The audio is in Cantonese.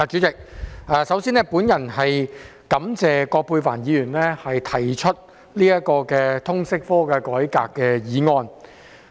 代理主席，首先，我感謝葛珮帆議員提出"徹底改革通識教育科"的議案。